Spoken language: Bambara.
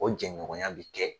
O jɛɲɔgɔnya bɛ kɛ.